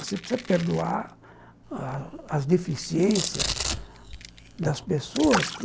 Você precisa perdoar as as deficiências das pessoas que...